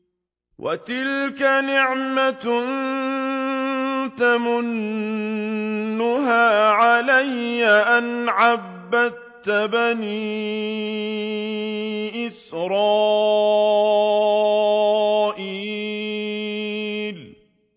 وَتِلْكَ نِعْمَةٌ تَمُنُّهَا عَلَيَّ أَنْ عَبَّدتَّ بَنِي إِسْرَائِيلَ